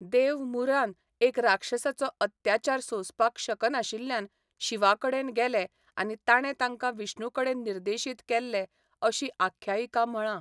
देव 'मुरान' एक राक्षसाचो अत्याचार सोंसपाक शकनाशिल्ल्यान शिवाकडेन गेले आनी ताणें तांकां विष्णुकडेन निर्देशीत केल्ले अशी आख्यायिका म्हळां.